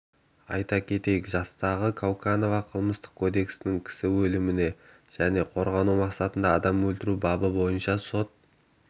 айта кетейік жастағы кауканова қылмыстық кодекстің кісі өлімі және қорғану мақсатында адам өлтіру бабы бойынша сот